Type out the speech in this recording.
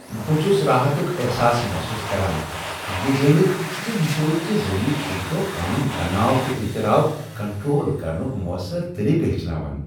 بہٕ چھس راحتک احساس محسوس کران یہ زانتھ ز مشٲہدٕ کہ ذریعہ چھس بہٕ پنن تناؤ تہٕ اضطراب کنٹرول کرنک موثر طریقہٕ ہیچھان۔